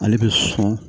Ale bɛ sɔn